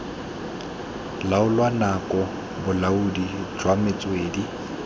laola nako bolaodi jwa metswedi